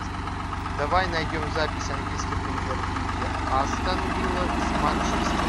давай найдем запись английской премьер лиги астон вилла с манчестер